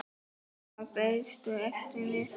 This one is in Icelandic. Þar beiðstu eftir mér.